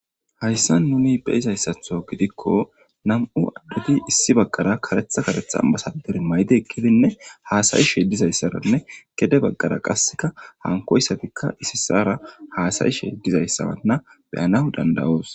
Hayssa nuni be izayssatho gidikko nam'u adduti issi baggara karetha karetha masadir maydi ekkidinne haasayishe dizayssaranne gede baggara qasseka hankoyssatikka issi sara haasayishe dizayssaranna beyana dandawoos.